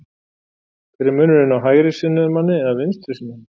Hver er munurinn á hægrisinnuðum manni eða vinstrisinnuðum?